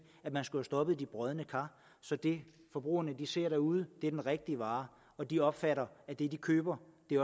at man skulle have stoppet de brodne kar så det forbrugerne ser derude er den rigtige vare og de opfatter at det de køber